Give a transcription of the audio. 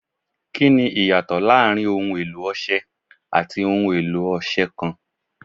Kini iyato laarin ohun elo Ọṣẹ ati ohun elo ọṣẹ kan